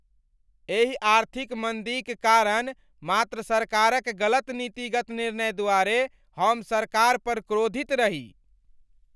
एहि आर्थिक मन्दीक कारण मात्र सरकारक गलत नीतिगत निर्णय द्वारे हम सरकार पर क्रोधित रही।